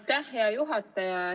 Aitäh, hea juhataja!